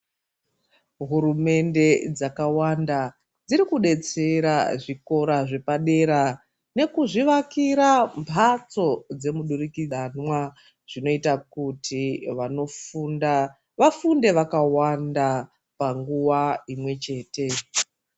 Hurumende dzakawanda dzirikudetsera zvikora zvepadera nekuzvivakira mbatso dzemudurikidzanwa zvinoita kuti vanofunda vafunde vakawanda panguva imwechete.